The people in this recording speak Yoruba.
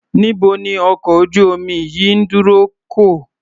Níbo ni ọkọ̀ ojú-omi yìí ń dorí kọ?